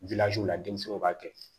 la denmisɛnw b'a kɛ